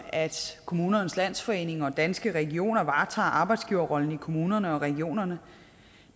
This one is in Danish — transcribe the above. kommunernes landsforening og danske regioner varetager arbejdsgiverrollen i kommunerne og regionerne